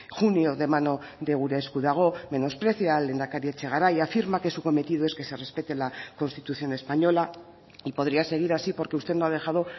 junio de mano de gure esku dago menosprecia al lehendakari etxegaray afirma que su cometido es que se respete la constitución española y podría seguir así porque usted no ha dejado